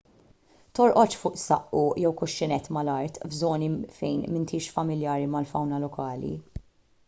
torqodx fuq saqqu jew kuxxinett mal-art f'żoni fejn m'intix familjari mal-fawna lokali